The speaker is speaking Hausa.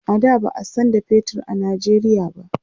a da ba'a San da fetur a Nigeria ba